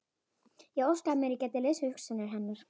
Ég óskaði mér að ég gæti lesið hugsanir hennar.